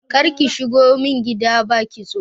Karki shigo min gida ba kitso.